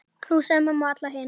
Knúsaðu mömmu og alla hina.